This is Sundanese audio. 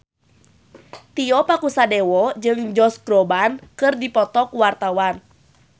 Tio Pakusadewo jeung Josh Groban keur dipoto ku wartawan